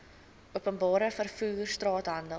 openbare vervoer straathandel